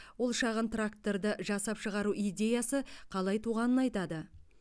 ол шағын тракторды жасап шығару идеясы қалай туғанын айтады